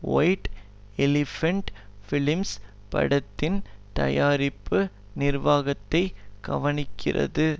white elephant films படத்தின் தயாரிப்பு நிர்வாகத்தை கவனிக்கிறது